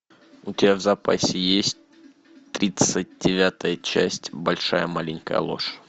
у тебя в запасе есть тридцать девятая часть большая маленькая ложь